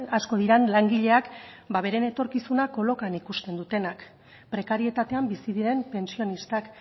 asko diren langileak ba beren etorkizuna kolokan ikusten dutenak prekarietatean bizi diren pentsionistak